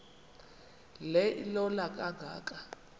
le ilola kangaka